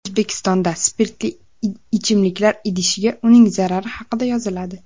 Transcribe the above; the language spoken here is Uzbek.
O‘zbekistonda spirtli ichimliklar idishiga uning zarari haqida yoziladi .